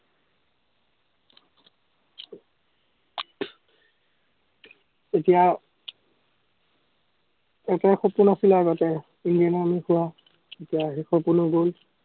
আমি আৰু এতিয়া এটাই সপোন আছিলে আগতে,